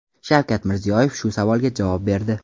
Shavkat Mirziyoyev shu savolga javob berdi.